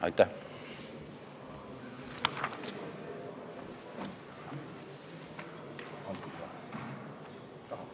Aitäh!